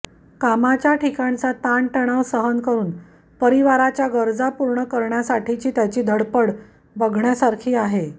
कामाच्या ठिकाणचा ताणतणाव सहन करून परिवाराच्या गरजा पूर्ण करण्यासाठीची त्याची धडपड बघण्यासारखी आहे